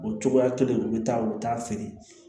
O cogoya kelen u bɛ taa u bɛ taa feere